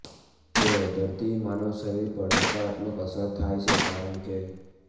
તેઓ દર્દી માનવ શરીર પર નકારાત્મક અસર થાય છે કારણ કે